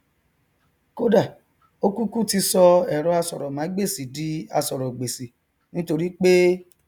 kódà ó kúkú ti sọ ẹrọ asọrọmágbèsì di asọrọgbèsì nítorípé